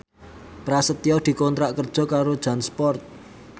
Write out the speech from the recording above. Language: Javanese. Prasetyo dikontrak kerja karo Jansport